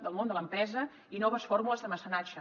del món de l’empresa i noves fórmules de mecenatge